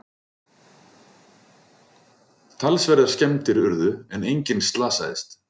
Talsverðar skemmdir urðu en enginn slasaðist